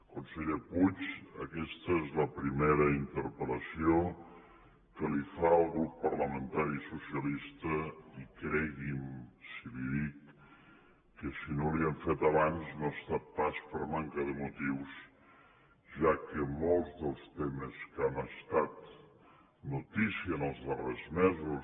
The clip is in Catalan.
conseller puig aquesta és la primera interpel·lació que li fa el grup parlamentari socialista i cregui’m si li dic que si no li hem fet abans no ha estat pas per manca de motius ja que molts dels temes que han estat notícia en els darrers mesos